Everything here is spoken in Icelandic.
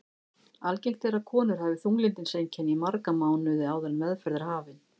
Algengt er að konur hafi þunglyndiseinkenni í marga mánuði áður en meðferð er hafin.